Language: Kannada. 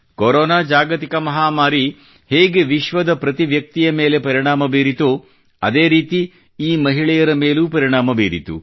ಕೊರೋನಾ ಜಾಗತಿಕ ಮಹಾಮಾರಿ ಹೇಗೆ ವಿಶ್ವದ ಪ್ರತಿ ವ್ಯಕ್ತಿಯ ಮೇಲೆ ಪರಿಣಾಮ ಬೀರಿತೋ ಅದೇ ರೀತಿ ಈ ಮಹಿಳೆಯರ ಮೇಲೂ ಪರಿಣಾಮ ಬೀರಿತು